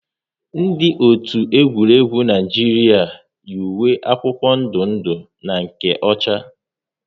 Ndị otu egwuregwu Naijiria yi uwe akwụkwọ ndụ ndụ na nke ọcha